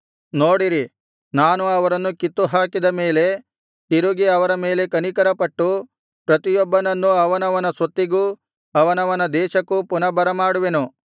ನೋಡಿರಿ ನಾನು ಅವರನ್ನು ಕಿತ್ತುಹಾಕಿದ ಮೇಲೆ ತಿರುಗಿ ಅವರ ಮೇಲೆ ಕನಿಕರಪಟ್ಟು ಪ್ರತಿಯೊಬ್ಬನನ್ನೂ ಅವನವನ ಸ್ವತ್ತಿಗೂ ಅವನವನ ದೇಶಕ್ಕೂ ಪುನಃ ಬರಮಾಡುವೆನು